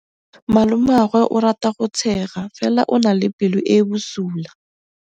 Malomagwe o rata go tshega fela o na le pelo e e bosula.